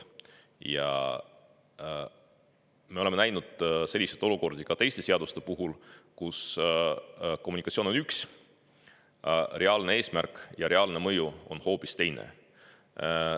Ja me oleme näinud selliseid olukordi ka teiste seaduste puhul, kus kommunikatsioon on üks, reaalne eesmärk ja reaalne mõju on hoopis teine.